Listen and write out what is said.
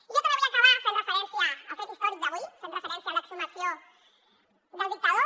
i jo també vull acabar fent referència al fet històric d’avui fent referència a l’exhumació del dictador